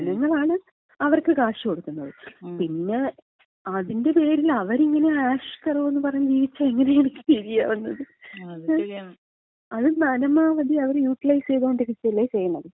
ജനങ്ങളാണ് അവർക്ക് കാശ് കൊടുക്കുന്നത്. പിന്നെ അതിന്‍റെ പേരില് അവരിങ്ങനെ ആഷ്കരോന്ന് പറഞ്ഞ് ജീവിച്ചാ എങ്ങനെയായിരിക്കും ശരിയാവുന്നത്, അത് പരമാവധി അവരെ യൂട്ടലൈസ് ചെയ്തുകൊണ്ടിരിക്കല്ലേ ചെയ്യണത്,